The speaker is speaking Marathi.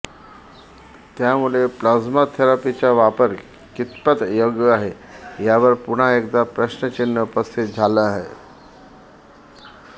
त्यामुळे प्लाझ्मा थेरपीचा वापर कितपत योग्य आहे यावर पुन्हा एकदा प्रश्नचिन्ह उपस्थित झालं आहे